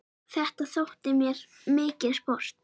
Þetta þótti mér mikið sport.